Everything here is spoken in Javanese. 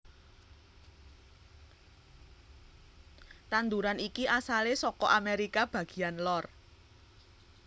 Tanduran iki asalé saka Amerika bagéyan lor